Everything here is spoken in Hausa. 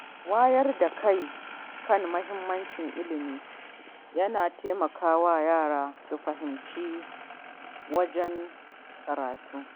Wayar da kai kan muhimmancin ilimi yana taimakawa yara su himmatu wajen karatu.